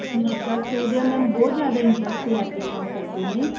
plus two ਦੇ mam ਬਹੁਤ ਜਿਆਦਾ interest ਲੈ ਕੇ ਕੰਮ ਕਰਦੇ ਨੇ